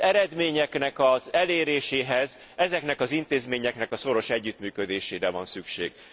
Az eredmények eléréséhez ezeknek az intézményeknek a szoros együttműködésére van szükség.